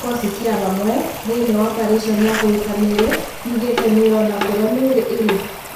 Kikosi kũa hamwe thĩĩni ya operĩseni ya kũruta mĩĩri yugĩte nĩrona kũria mĩĩri ĩrĩ.